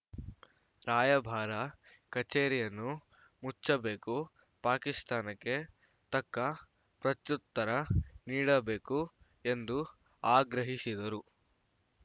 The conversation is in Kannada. ರಾಯಭಾರ ಕಚೇರಿಯನ್ನು ಮುಚ್ಚಬೇಕು ಪಾಕಿಸ್ತಾನಕ್ಕೆ ತಕ್ಕ ಪ್ರತ್ಯುತ್ತರ ನೀಡಬೇಕು ಎಂದು ಆಗ್ರಹಿಸಿದರು